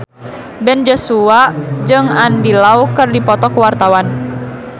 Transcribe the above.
Ben Joshua jeung Andy Lau keur dipoto ku wartawan